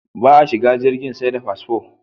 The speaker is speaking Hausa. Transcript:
Ba a shigan jirgi sai da fasfo